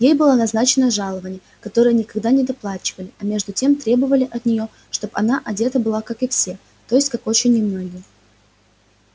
ей было назначено жалованье которое никогда не доплачивали а между тем требовали от неё чтоб она одета была как и все то есть как очень немногие